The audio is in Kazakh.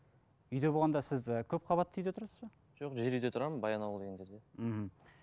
үйде болғанда сіз і көпқабатты үйде тұрасыз ба жоқ жер үйде тұрамын баянауыл деген жерде мхм